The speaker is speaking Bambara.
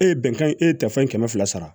E ye bɛnkan ye e ye tɛfan kɛmɛ fila sara